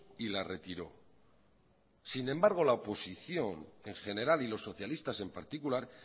y la retiró sin embargo la oposición en general y los socialistas en particular